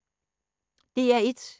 DR1